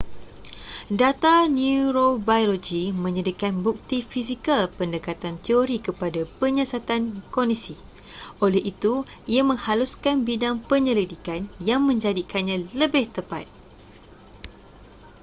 data neurobiologi menyediakan bukti fizikal pendekatan teori kepada penyiasatan kognisi oleh itu ia menghaluskan bidang penyelidikan yang menjadikannya lebih tepat